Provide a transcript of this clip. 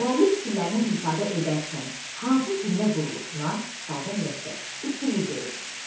Müəllif fikirlərini ifadə edərkən hansı cümlə quruluşuna (sadə, mürəkkəb) üstünlük verib?